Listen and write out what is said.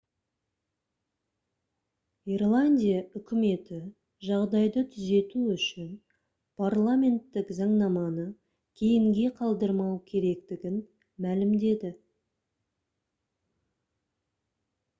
ирландия үкіметі жағдайды түзету үшін парламенттік заңнаманы кейінге қалдырмау керектігін мәлімдеді